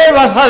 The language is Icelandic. ef það